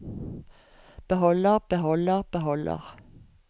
beholder beholder beholder